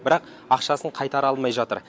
бірақ ақшасын қайтара алмай жатыр